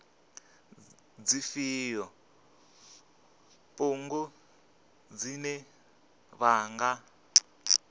dzifhio bugu dzine vha nga